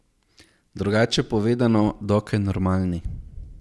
Drugače povedano, dokaj normalni.